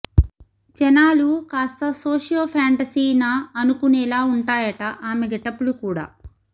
జనాలు కాస్త socio fantasy నా అనుకునేలా వుంటాయట ఆమె గెటప్ లు కూడా